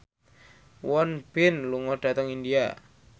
Won Bin lunga dhateng India